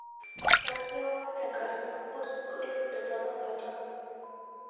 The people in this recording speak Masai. kanyoo enkarna osingolio letanakata